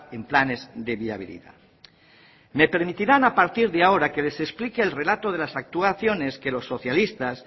en planes de viabilidad me permitirán a partir de ahora que les explique el relato de las actuaciones que los socialistas